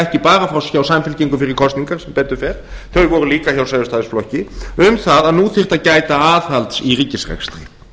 ekki bara hjá samfylkingu fyrir kosningar sem betur fer þau voru líka hjá sjálfstæðisflokki um það að nú þyrfti að gæta aðhalds í ríkisrekstri